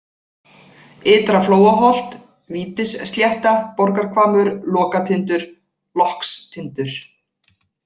Ytra-Flóaholt, Vítisslétta, Borgarhvammur, Lokatindur (Lockstindur)